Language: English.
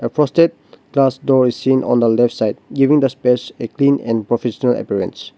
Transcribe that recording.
a frosted storage seen on the left side giving the space a clean and professional appearance.